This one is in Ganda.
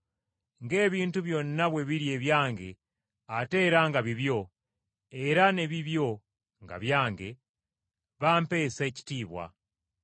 Ng’ebintu byonna bwe biri ebyange ate era nga bibyo, era ne bibyo nga byange, bampeesa ekitiibwa.